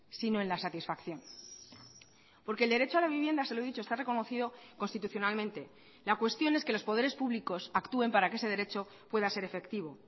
sino en la satisfacción porque el derecho a la vivienda se lo he dicho está reconocido constitucionalmente la cuestión es que los poderes públicos actúen para que ese derecho pueda ser efectivo